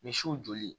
Misiw joli